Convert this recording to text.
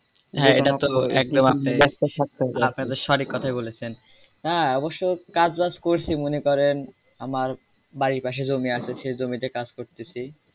হ্যাঁ, এটা তো সত্যি আপনি তো সঠিক কথা বলেছেন হ্যাঁ অবশ্যেই কাজ বাজ করছি মনে করেন আমার বাড়ীর পাশে জমি আছে সে জমিতে কাজ করতেছি।